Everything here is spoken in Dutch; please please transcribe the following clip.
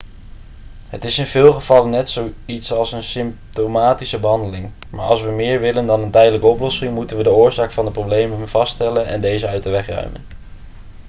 het is in veel gevallen net zoiets als een symptomatische behandeling maar als we meer willen dan een tijdelijke oplossing moeten we de oorzaak van de problemen vaststellen en deze uit de weg ruimen